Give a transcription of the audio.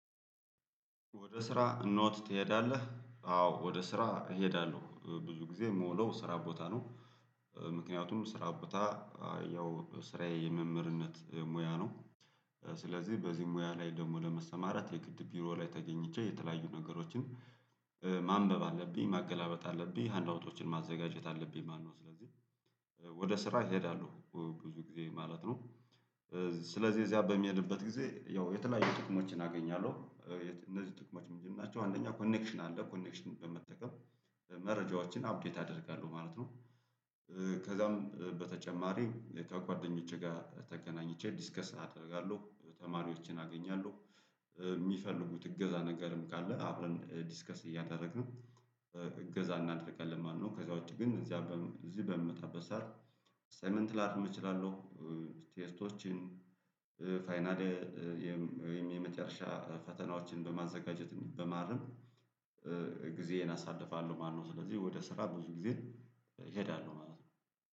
ወደ ስራ ኖት ትሄዳለህ? አዎ ወደ ስራ እሄዳለሁ ብዙ ጊዜ የምውለው ስራ ቦታ ነው ምክንያቱም ስራ ቦታ ያው ስራዬ የመምህርነት ሙያ ነው ስለዚህ በዚህ ሙያ ላይ ደግሞ ለመስተማራት የግድ ቢሮ ላይ ተገኝቼ የተለያዩ ነገሮችን ማንበብ አለብኝ ማገላበጥ አለብኝ ሃንድ አውቶችን ማዘጋጀት አለብኝ ማነው ስለዚህ ወደ ስራ ይሄዳሉ ብዙ ጊዜ ማለት ነው ስለዚህ እዚያ በምሄድበት ጊዜ ያው የተለያዩ ጥቅሞችን አገኛለሁ እነዚህ ጥቅሞች ምንድናቸው አንደኛ ኮኔክሽን አለ ኮኔክሽን በመጠቀም መረጃዎችን አፕዴት አደርጋለሁ ማለት ነው ከዛም በተጨማሪ ከጓደኞቼ ጋር ተገናኝቼ ዲስከስ አደርጋለሁ ተማሪዎችን አገኛለሁ የሚፈልጉት እገዛ ነገርም ካለ አብረን ዲስከስ እያደረግን እገዛ እናደርጋለን ማለት ነው ከዛ ውጪ ግን እዚህ በምመጣበት ሰዓት አሳይመንት ላርም እችላለሁ ቴስቶችን ፋይናል ወይም የመጨረሻ ፈተናዎችን በማዘጋጀት በማረም ጊዜዬን አሳልፋለሁ ማለት ነው ስለዚህ ወደ ስራ ብዙ ጊዜ እሄዳለሁ ማለት ነው